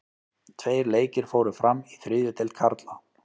Tveir leikir fóru fram í þriðju deild karla.